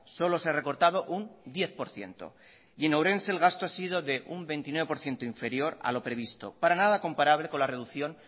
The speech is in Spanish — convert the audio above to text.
solo se ha recortado un diez por ciento y en ourense el gasto ha sido de un veintinueve por ciento inferior a lo previsto para nada comparable con la reducción